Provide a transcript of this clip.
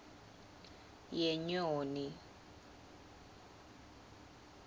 yenyoni